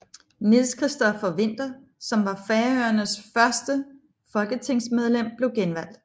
Niels Christopher Winther som var Færøernes første folketingsmedlem blev genvalgt